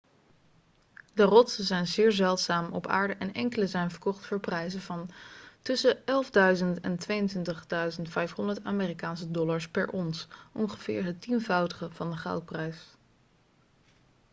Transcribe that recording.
de rotsen zijn zeer zeldzaam op aarde en enkele zijn verkocht voor prijzen van tussen 11.000 en 22.500 amerikaanse dollars per ons ongeveer het tienvoudige van de goudprijs